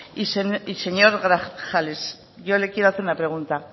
y señor grajales yo le quiero hacer una pregunta